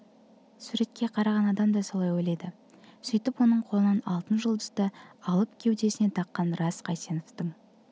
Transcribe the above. суретке қараған адам да солай ойлайды сөйтіп оның қолынан алтын жұлдызды алып кеудесіне таққан рас қайсеновтің